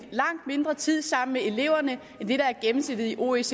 langt mindre tid sammen med eleverne end det der er gennemsnittet i oecd